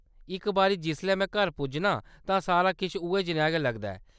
इक बारी जिसलै में घर पुज्जनां, तां सारा किश उ'ऐ जनेहा गै लगदा ऐ।